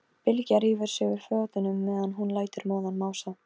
Ekki heyrt brothljóð eða neitt slíkt?